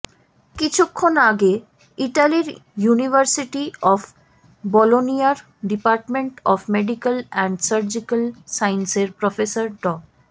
কিছুক্ষণ আগে ইতালির ইউনিউভার্সিটি অব বলোনিয়ার department of medical and surgical সায়েন্সেজের প্রফেসর ড